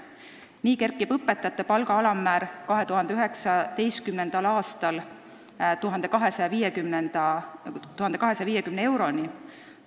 Nii kerkib õpetaja palga alammäär 2019. aastal 1250 euroni.